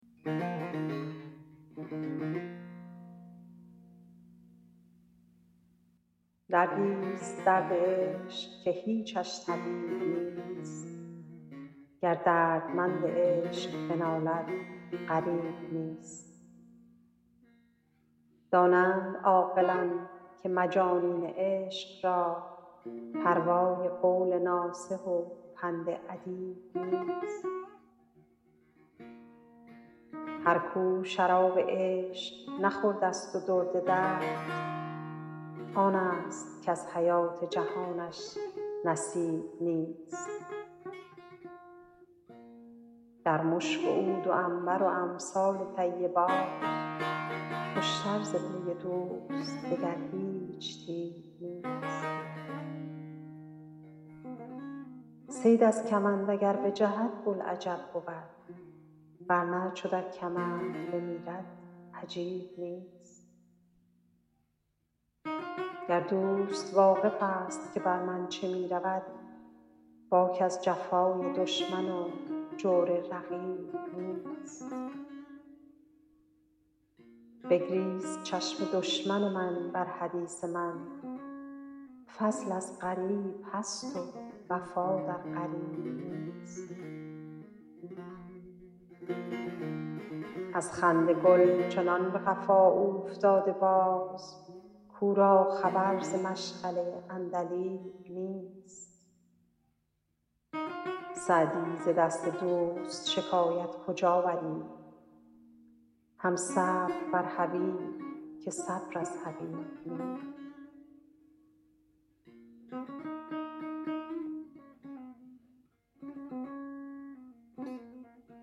دردی ست درد عشق که هیچش طبیب نیست گر دردمند عشق بنالد غریب نیست دانند عاقلان که مجانین عشق را پروای قول ناصح و پند ادیب نیست هر کو شراب عشق نخورده ست و درد درد آن ست کز حیات جهانش نصیب نیست در مشک و عود و عنبر و امثال طیبات خوش تر ز بوی دوست دگر هیچ طیب نیست صید از کمند اگر بجهد بوالعجب بود ور نه چو در کمند بمیرد عجیب نیست گر دوست واقف ست که بر من چه می رود باک از جفای دشمن و جور رقیب نیست بگریست چشم دشمن من بر حدیث من فضل از غریب هست و وفا در قریب نیست از خنده گل چنان به قفا اوفتاده باز کو را خبر ز مشغله عندلیب نیست سعدی ز دست دوست شکایت کجا بری هم صبر بر حبیب که صبر از حبیب نیست